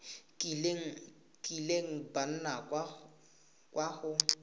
kileng ba nna kwa go